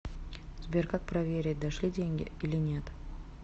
сбер как проверить дошли деньги или нет